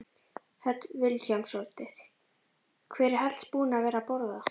Hödd Vilhjálmsdóttir: Hver er helst búinn að vera að borða?